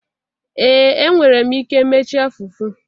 Ee enwere m ike mechaa fufu